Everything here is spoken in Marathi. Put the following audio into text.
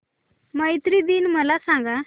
मैत्री दिन मला सांगा